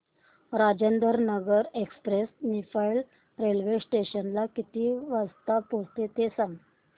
Rajendranagar express Niphad railway station ला किती वाजता पोहचते ते सांग